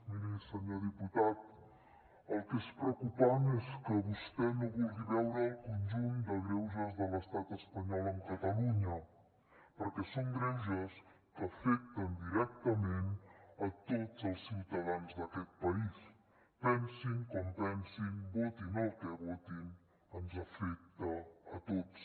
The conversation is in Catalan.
miri senyor diputat el que és preocupant és que vostè no vulgui veure el conjunt de greuges de l’estat espanyol amb catalunya perquè són greuges que afecten directament tots els ciutadans d’aquest país pensin com pensin votin el que votin ens afecta a tots